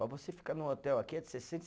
Para você ficar num hotel aqui é de